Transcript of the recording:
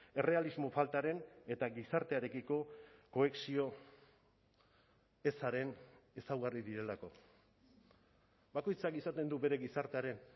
errealismo faltaren eta gizartearekiko kohesio ezaren ezaugarri direlako bakoitzak izaten du bere gizartearen